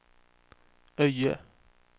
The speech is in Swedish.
Öje